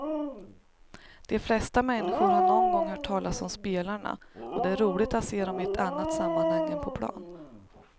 De flesta människor har någon gång hört talas om spelarna och det är roligt att se dem i ett annat sammanhang än på plan.